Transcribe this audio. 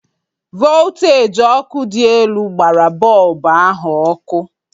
Volteji ọkụ dị elu gbara bọlbụ ahụ ọkụ.